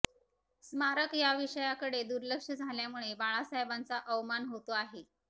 स्मारक या विषयाकडे दुर्लक्ष झाल्यामुळे बाळासाहेबांचा अवमान होतो आहे